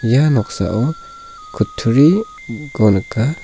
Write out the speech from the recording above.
ia noksao kutturiko nika.